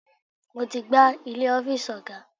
Mo ti gbá ilẹ̀ ọ́fíìsì ọ̀gá.